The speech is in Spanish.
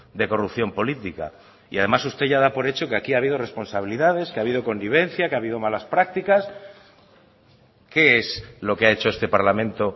de corrupción política y además usted ya da por hecho que aquí ha habido responsabilidades que ha habido connivencia que ha habido malas prácticas qué es lo que ha hecho este parlamento